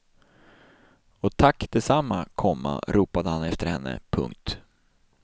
Och tack detsamma, komma ropade han efter henne. punkt